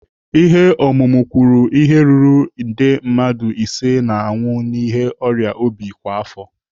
Ihe ọmụmụ kwuru ihe ruru nde mmadụ ise ga-anwụ n'ihi ọrịa obi kwa afọ.